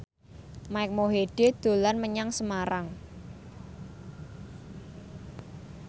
Mike Mohede dolan menyang Semarang